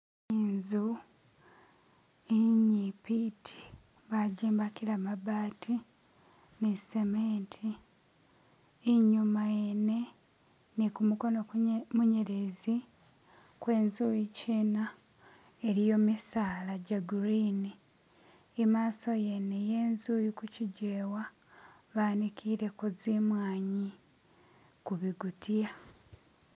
inzu inyipi iti bajimbakila mabati ni cement inyuma yene ni kumukono munyelezi kwenzu yikyina iliyo misaala gya green. Imaaso yene yenzu iliku kijewa banikileko zimwanyi ku bigutiya